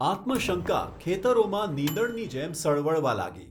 આત્મશંકા ખેતરોમાં નીંદણની જેમ સળવળવા લાગી.